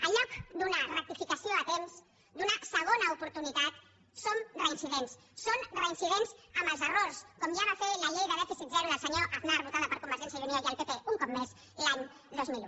en lloc d’una rectificació a temps donar segona oportunitat som reincidents són reincidents amb els errors com ja va fer la llei de dèficit zero del senyor aznar votada per convergència i unió i el pp un cop més l’any dos mil un